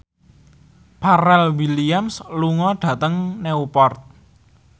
Pharrell Williams lunga dhateng Newport